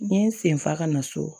N ye n sen fa ka na so